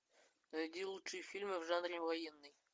найди лучший фильм в жанре военный